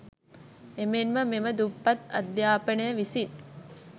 එමෙන්ම මෙම දුප්පත් අධ්‍යාපනය විසින්